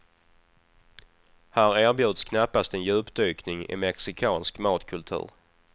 Här erbjuds knappast en djupdykning i mexikansk matkultur.